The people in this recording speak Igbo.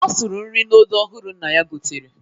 Ọ sụrụ nri n'odo ọhụrụ nna ya gotere.